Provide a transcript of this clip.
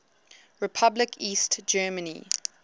republic east germany